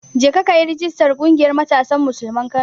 Jeka kayi rijistar ƙungiyar Matasan Musulman Kano.